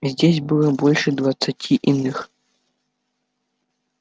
здесь было больше двадцати иных